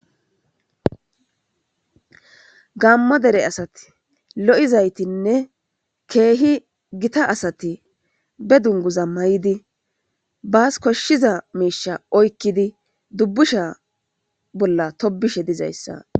gammo dere asati lo7izaytinne keehi gita asati be dunguza may7idi baas koshshiza miisha oykkidi dubbusha bolla tobishe dizayssa